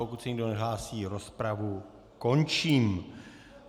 Pokud se nikdo nehlásí, rozpravu končím.